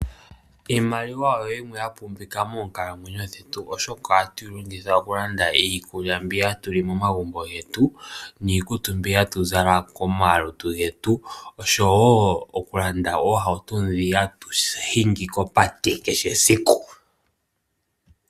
Iimaliwa oyo yimwe ya pumbiwa moonkalamwenyo dhetu, oshoka ohatu yi longitha oku landa iikulya mbi hatu li momagumbo getu, niikutu mbi hatu zala komalutu getu, oshowo oku landa oohauto dhi hatu hingi kopate kehe esiku.